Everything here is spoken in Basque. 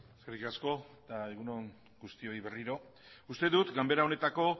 eskerrik asko eta egun on guztioi berriro uste dut ganbera honetako